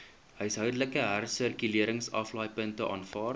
huishoudelike hersirkuleringsaflaaipunte aanvaar